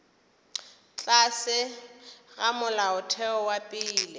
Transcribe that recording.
tlase ga molaotheo wa pele